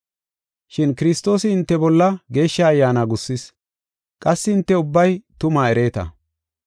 Shin Kiristoosi hinte bolla Geeshsha Ayyaana gussis; qassi hinte ubbay tumaa ereeta.